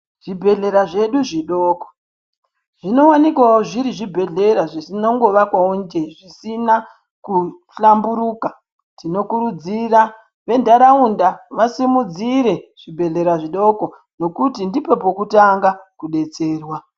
Zvibhedhlera zvedu zvidoko, zvinowanikwawo zviri zvibhedhlera zvinongovakwawo nje zvisina kuhlamburuka. Tinokurudzira ventaraunda vasimudzire zvibhedhlera zvidoko nokuti ndipo panotanga kudetserwa.